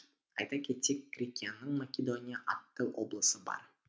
айта кетсек грекияның македония атты облысы бар